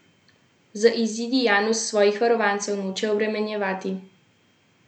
Z izidi Janus svojih varovancev noče obremenjevati.